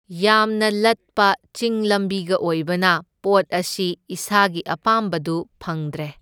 ꯌꯥꯝꯅ ꯂꯠꯄ ꯆꯤꯡ ꯂꯝꯕꯤꯒ ꯑꯣꯏꯕꯅ ꯄꯣꯠ ꯑꯁꯤ ꯏꯁꯥꯒꯤ ꯑꯄꯥꯝꯕꯗꯨ ꯐꯪꯗ꯭ꯔꯦ꯫